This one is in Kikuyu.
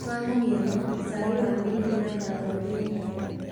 Kwa mũhiano, cai wa minti na kangauthi nĩ mwega